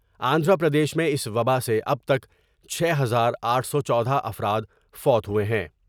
آندھرا پردیش میں اس وباء سے اب تک چھ ہزار آٹھ سو چودہ افرادفوت ہوۓ ہیں ۔